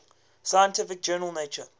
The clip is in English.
scientific journal nature